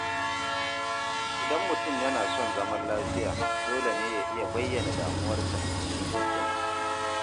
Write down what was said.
Idan mutum yana son zaman lafiya, dole ne ya iya bayyana damuwarsa cikin hikima.